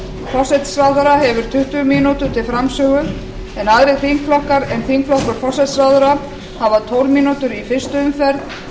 forsætisráðherra hefur tuttugu mínútur til framsögu en aðrir þingflokkar en þingflokkur forsætisráðherra hafa tólf mínútur í fyrstu umferð